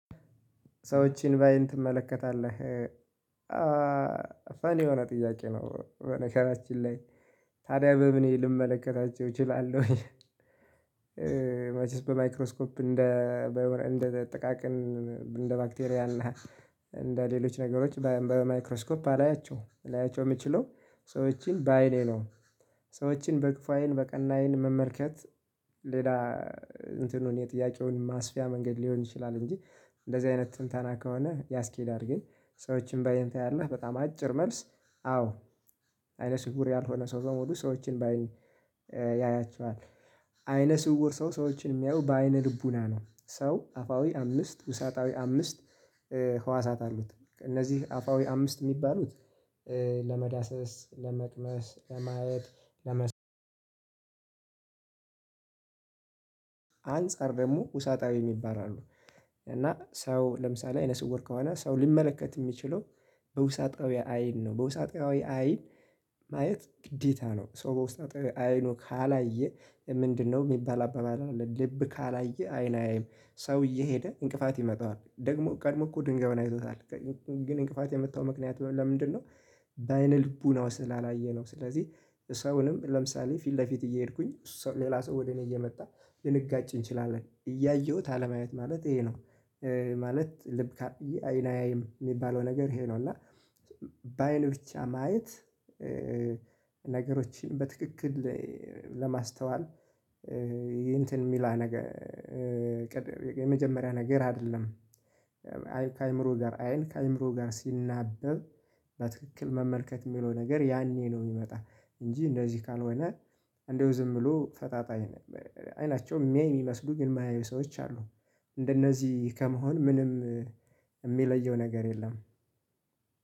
ሰዎችን ባአይን ትመለከታለህ ፈን የሆነ ጥያቄ ነው በነገራችን ላይ ታዲያ በምኔ ልመለከታቸው እችላለሁኝ? መቼስ በማይክሮስኮፕ እንደ እንደ ጥቃቅን እንደ ባክቴሪያን እና እንደ ሌሎች ነገሮች በማይክሮስኮፕ አላያቸውም ላያቸው የምችለው ሰዎችን በአይኔ ነው። ሰዎችን በክፉ አይን በቀና አይን መመልከት ሌላ እንትኑን የጥያቄውን ማስፊያ መንገድ ሊሆን ይችላል እንጂ እንደዚህ አይነት ትንታና ከሆነ ያስኬዳል። ግን ሰዎችን ባአይን ታያለህ በጣም አጭር መልስ። አዎ አይነ ስውር ያልሆነ ሰው ሰው በሙሉ ሰዎችን በአይን ያያቸዋል። አይነ ስውር ሰው ሰዎችን የሚያየው በአይነ ልቡና ነው። ሰው አፋዊ አምስት ውሳጣዊ አምስት ህዋሳት አሉት። እነዚህ አፋዊ አምስት የሚባሉት ለመዳሰስ ለመቅመስ ለማየት ለመ አንፃር ደግሞ ውሳጣዊ የሚይባሉ አሉ። እና ሰው ለምሳሌ አይነስውር ከሆነ ሰው ሊመለከት የሚችለው በውሳጣዊ አይን ነው በውሳጣዊ አይን ማየት ግዴታ ነው። ሰው በውስጣዊ አይኑ ካላየ ምንድነው የሚባል አባባል አለ። ልብ ካላየ አይን አያይም። ሰው እየሄደ እንቅፋት ይመታዋል ደግሞ ቀድሞ እኮ ድንጋዩን አይቶታል። ግን እንቅፋት የመታው ምክንያት ለምንድነው? በአይነ ልቡናው ስላላየ ነው። ስለዚህ ሰውንም ለምሳሌ ፊት ለፊት እየሄድኩኝ ሌላ ሰው ወደ እኔ እየመጣ ልንጋጭ እንችላለን እያየሁት አለማየት ማለት ይሄ ነው። ማለት ልብ ካላየ አይን አያይም የሚባለው ነገር ይሄ ነው። እና በአይን ብቻ ማየት ነገሮችን በትክክል ለማስተዋል እንትን የሚላ ነገር የመጀመሪያ ነገር አይደለም። አይን ከአእምሮ ጋር አይን ከአእምሮ ጋር ሲናበብ በትክክል መመልከት የሚለው ነገር ያኔ ነው የሚመጣው። እንጂ እንደዚህ ካልሆነ እንደው ዝም ብሎ ፈጣጣ አይን አይናቸው የሚያይ የሚመስሉ ግን የማያዩ ሰዎች አሉ። እንደነዚህ ከመሆን ምንም የሚለየው ነገር የለም።